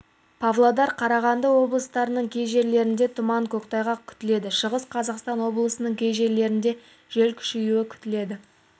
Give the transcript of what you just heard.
павлодар қарағанды облыстарының кей жерлерінде тұман көктайғақ күтіледі шығыс қазақстан облысының кей жерлерінде жел күшеюі күтіледі